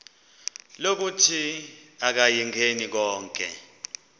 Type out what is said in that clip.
lokuthi akayingeni konke